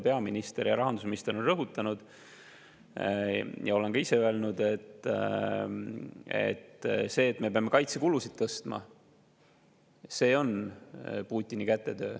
Peaminister ja rahandusminister on rõhutanud seda ja ma olen ka ise öelnud, et see, et me peame kaitsekulusid tõstma, on Putini kätetöö.